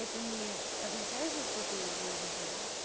это не означает же что ты должен там